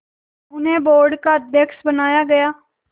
उन्हें बोर्ड का अध्यक्ष बनाया गया